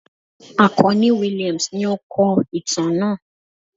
Akanni Williams ní o kó ìtàn náà